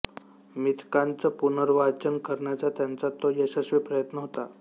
मिथकांचं पुनर्वाचन करण्याचा त्यांचा तो यशस्वी प्रयत्न होता